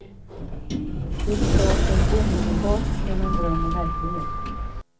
Det skar sig omedelbart mellan dröm och verklighet.